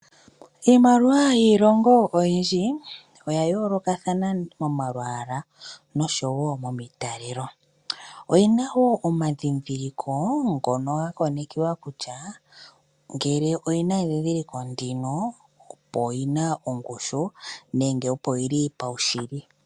Iimaliwa yiilongo oyindji oya yolokathana momalwaala noshowo momitalelo. Oyena wo omadhidhiliko ngono ga konekiwa kutya ngele oyena edhidhiliko ndino opo yina ongushu nenge opo yili paushili.